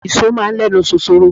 Ìṣọ́ máa ń ẹnu ṣoṣoro.